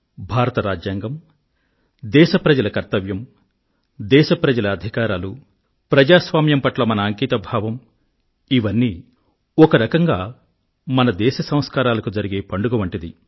భారత రాజ్యాంగం దేశప్రజల కర్తవ్యం దేశ ప్రజల అధికారాలు ప్రజాస్వామ్యం పట్ల మన అంకితభావం ఇవన్నీ ఒకరకంగా మన దేశ సంస్కారాలకు జరిగే పండుగ వంటిది